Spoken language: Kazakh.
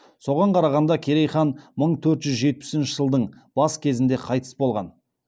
соған қарағанда керей хан мың төрт жүз жетпісінші жылдың бас кезінде қайтыс болған